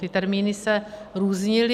Ty termíny se různily.